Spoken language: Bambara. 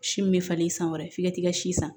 Si min bɛ falen san wɛrɛ f'i ka t'i ka si san